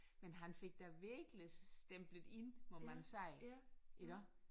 Men han fik da virkelig stemplet ind må man sige iggå